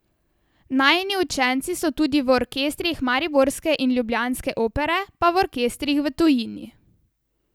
Najini učenci so tudi v orkestrih mariborske in ljubljanske opere pa v orkestrih v tujini.